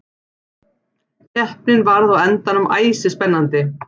Keppnin varð á endanum æsispennandi.